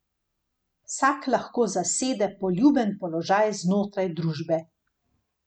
Vsak lahko zasede poljuben položaj znotraj družbe.